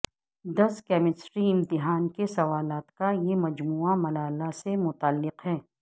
دس chemistry امتحان کے سوالات کا یہ مجموعہ ملالہ سے متعلق ہے